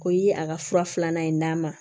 Ko i ye a ka fura filanan in d'a ma